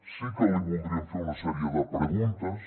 sí que li voldríem fer una sèrie de preguntes